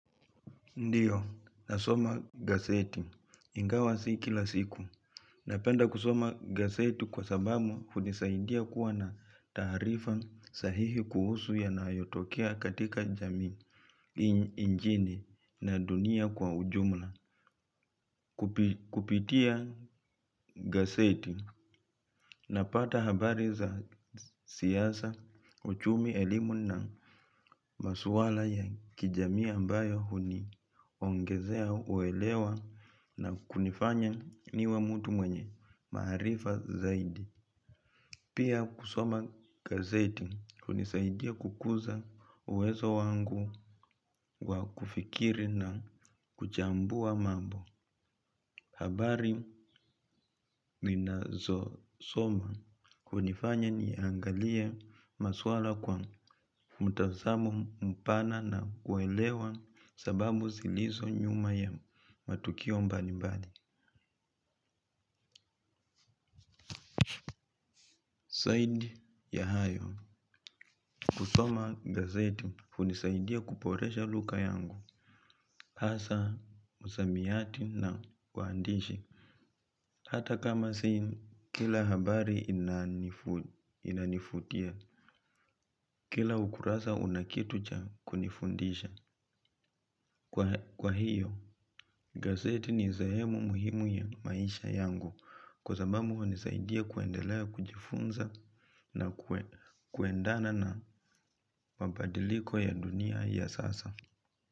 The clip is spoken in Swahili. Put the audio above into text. Ndio, nasoma gazeti. Ingawa si kila siku. Napenda kusoma gaseti kwa sababu hunisaidia kuwa na taarifa sahihi kuhusu yanayotokea katika jamii nchini na dunia kwa ujumla. Kupitia gazeti napata habari za siasa uchumi elimu na masuala ya kijamii ambayo huniongezea uelewa na kunifanya niwe mtu mwenye maarifa zaidi. Pia kusoma gazeti hunisaidia kukuza uwezo wangu wa kufikiri na kuchambua mambo. Habari ninazosoma hunifanya niangalie maswala kwa mtazamo mpana na kuelewa sababu zilizo nyuma ya matukio mbali mbali. Zaidi ya hayo. Kusoma gazeti hunisaidia kuboresha lugha yangu. Hasa, msamiati na uandishi. Hata kama si kila habari inanivutia. Kila ukurasa una kitu cha kunifundisha. Kwa hiyo, gazeti ni sehemu muhimu ya maisha yangu kwa sababu hunisaidia kuendelea kujifunza na kuendana na mabadiliko ya dunia ya sasa.